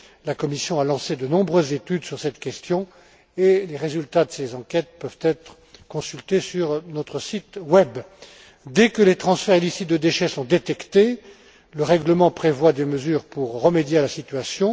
La Commission a lancé de nombreuses études sur cette question et les résultats de ces enquêtes peuvent être consultés sur notre site web. Dès que les transferts illicites de déchets sont détectés, le règlement prévoit des mesures pour remédier à la situation.